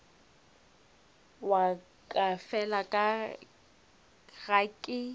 wa ka fela ga ke